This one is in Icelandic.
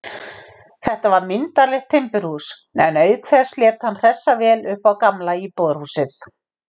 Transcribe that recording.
Þetta var myndarlegt timburhús, en auk þess lét hann hressa vel upp á gamla íbúðarhúsið.